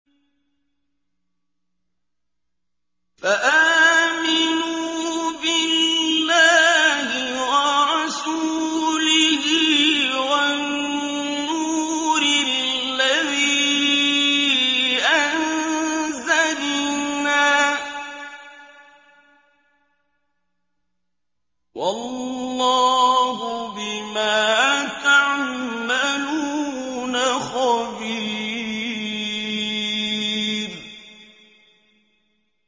فَآمِنُوا بِاللَّهِ وَرَسُولِهِ وَالنُّورِ الَّذِي أَنزَلْنَا ۚ وَاللَّهُ بِمَا تَعْمَلُونَ خَبِيرٌ